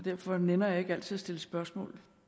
derfor nænner jeg ikke altid at stille spørgsmål